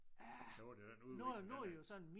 Hurtigt den udvikling den